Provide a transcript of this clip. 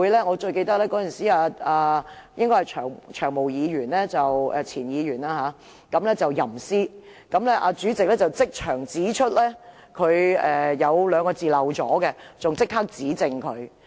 我最記得有一次"長毛"前議員吟詩，曾鈺成前主席即場指出他說漏了兩個字，更立刻指正他。